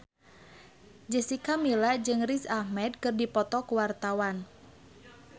Jessica Milla jeung Riz Ahmed keur dipoto ku wartawan